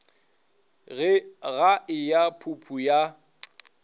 ga e ya phuphu ya